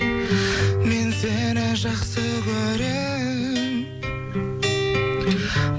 мен сені жақсы көрем